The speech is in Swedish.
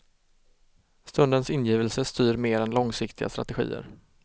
Stundens ingivelse styr mer än långsiktiga strategier.